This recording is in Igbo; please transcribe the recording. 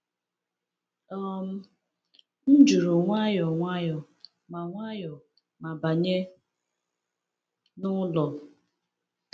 um M jụrụ nwayọ nwayọ ma nwayọ ma banye n’ụlọ.